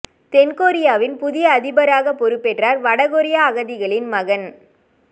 தென் கொரியாவின் புதிய அதிபராக பொறுப்பேற்றார் வட கொரிய அகதிகளின் மகன்